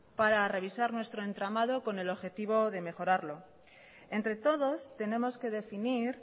para revisar nuestro entramado con el objetivo de mejorarlo entre todos tenemos que definir